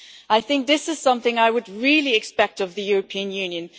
I think this is something I would really expect of the European Union.